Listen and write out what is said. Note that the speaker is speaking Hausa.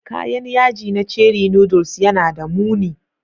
Kayan yaji na ceri noodles yana da muni